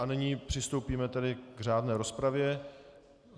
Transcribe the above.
A nyní přistoupíme tedy k řádné rozpravě.